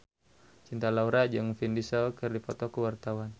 Cinta Laura jeung Vin Diesel keur dipoto ku wartawan